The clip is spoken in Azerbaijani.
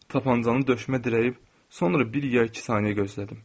Tapançanı döşümə dirəyib, sonra bir-iki saniyə gözlədim.